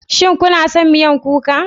Shin kuna son miya kuka?